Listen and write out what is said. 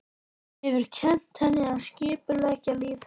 Hefur kennt henni að skipuleggja líf þeirra.